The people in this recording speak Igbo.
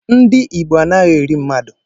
Ndị Igbo anaghi eri mmadu.